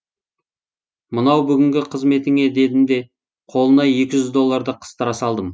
мынау бүгінгі қызметіңе дедім де қолына екі жүз долларды қыстыра салдым